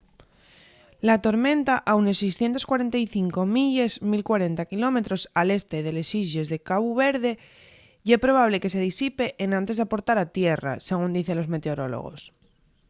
la tormenta a unes 645 milles 1040 km al este de les islles de cabu verde ye probable que se disipe enantes d'aportar a tierra según dicen los meteorólogos